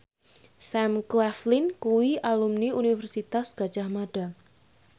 Sam Claflin kuwi alumni Universitas Gadjah Mada